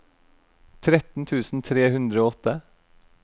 tretten tusen tre hundre og åtte